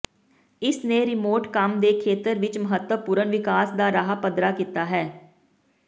ਇਸ ਨੇ ਰਿਮੋਟ ਕੰਮ ਦੇ ਖੇਤਰ ਵਿਚ ਮਹੱਤਵਪੂਰਨ ਵਿਕਾਸ ਦਾ ਰਾਹ ਪੱਧਰਾ ਕੀਤਾ ਹੈ